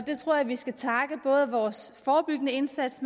jeg tror at vi skal takke både vores forebyggende indsats